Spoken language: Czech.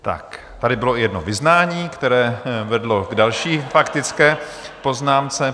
Tak tady bylo i jedno vyznání, které vedlo k další faktické poznámce.